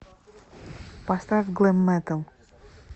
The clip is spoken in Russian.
поставь глэм метал